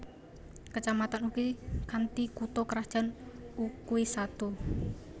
Kecamatan Ukui kanthi kutha krajan Ukui Satu